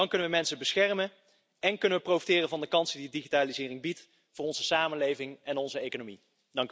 Dan kunnen we mensen beschermen en kunnen we profiteren van de kansen die digitalisering biedt voor onze samenleving en onze economie.